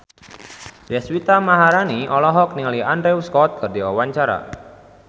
Deswita Maharani olohok ningali Andrew Scott keur diwawancara